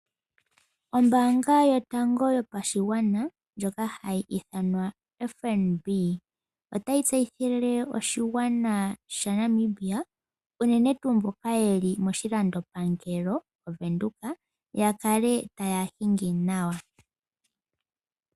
Ombaanga yotango yopashigwana ndjoka hayi ithanwa FNB otayi tseyithile oshigwana sha Namibia uunene tuu mboka yeli moshilandopangelo moVenduka yakale taya hingi nawa.